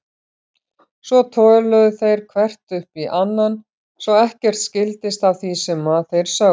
Svo töluðu þeir hver upp í annan svo ekkert skildist af því sem þeir sögðu.